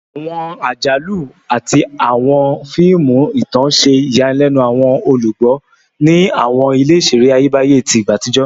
Awọn ajalu ati awọn fiimu itan ṣe iyanilenu awọn olugbo ni awọn ile-iṣere Ayebaye ti igba atijọ